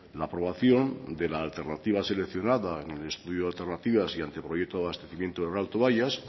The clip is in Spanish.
la aprobación de la alternativa seleccionada en el estudio de alternativas y anteproyecto de abastecimiento del alto bayas